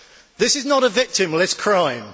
This is not a victimless crime.